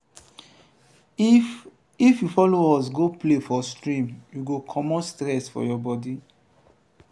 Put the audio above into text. if if you folo us go play for stream you go comot stress from your bodi.